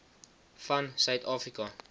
van suid afrika